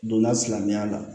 Donna silamɛya la